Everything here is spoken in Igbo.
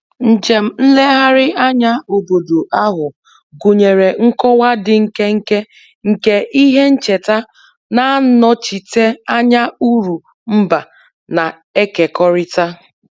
Njem nlegharị anya obodo ahụ gụnyere nkọwa dị nkenke nke ihe ncheta na-anọchite anya uru mba na-ekekọrịta